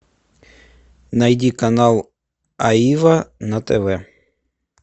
найди канал аива на тв